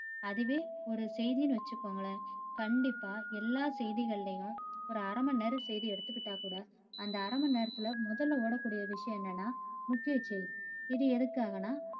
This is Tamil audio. அதுவே ஒரு செய்தின்னு வச்சுக்கோங்களேன் கண்டிப்பா எல்லா செய்திகளையும் ஒரு அரை மணிநேர செய்தி எடுத்திகிட்டா கூட அந்த அரை மணி நேரத்துல முதல ஓட கூடிய விஷயம் என்னன்னா முக்கிய செய்தி. இது எதுக்காகனா